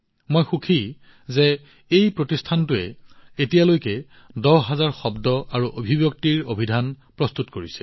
মই সুখী যে এই প্ৰতিষ্ঠানটোৱে এতিয়ালৈকে দহ হাজাৰ শব্দ আৰু অভিব্যক্তিৰ অভিধান প্ৰস্তুত কৰিছে